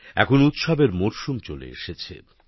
এখন উৎসবের মরশুমও চলে এসেছে